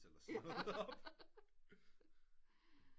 Eller sådan noget op